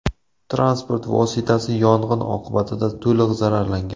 Transport vositasi yong‘in oqibatida to‘liq zararlangan.